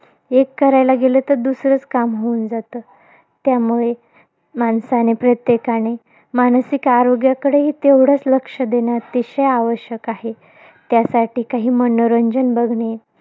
एक करायला गेलं, तर दुसरंच काम होऊन जातं. त्यामुळे माणसाने, प्रत्येकाने मानसिक आरोग्याकडे ही, तेवढंच लक्ष देणं आवश्यक आहे. त्यासाठी काही मनोरंजन बघणे.